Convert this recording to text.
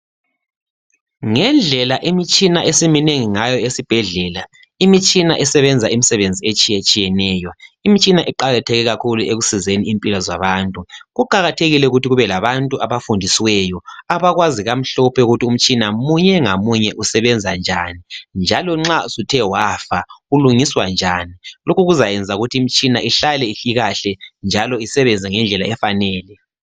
ngendlela imitshina esiminengi ngayo esibhedlela imitshina esebenza imisebenzi etshiyetshiyeneyo imitshina iqakatheke kakhulu ekusizeni impilo zabantu kuqakathekile ukuthi kube labantu abafundisiweyo abakwazi kamhlophe ukuthi umtshina munye ngamunye usebenza njani njalo nxa usuthe wafa ulungiswa njani lokhu kuzayenza ukuthi imtshina ihlale ikahle njalo isebenze ngendlela efanele